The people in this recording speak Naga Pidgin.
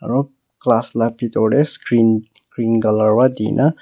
aru class lah bithor teh screen green colour pra di na--